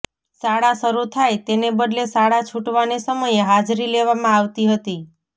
શાળા શરૂ થાય તેને બદલે શાળા છુટવાને સમયે હાજરી લેવામાં આવતી હતી